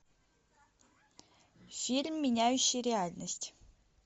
фильм меняющие реальность